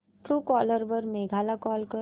Truecaller वर मेघा ला call कर